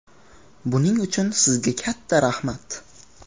Buning uchun sizga katta rahmat.